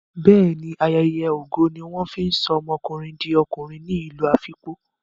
Bẹ́ẹ̀ ní, ayeye ogo ní wọ́n fi ń sọ ọmọkùnrin di okùnrin ní ìlú Afikpo.